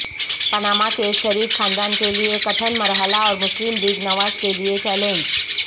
Panama case Sharif خاندان کے لیے کٹھن مرحلہ اور مسلم لیگ نواز کے لیے چیلنج